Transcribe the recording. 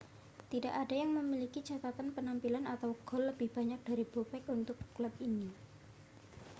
tidak ada yang memiliki catatan penampilan atau gol lebih banyak dari bobek untuk klub ini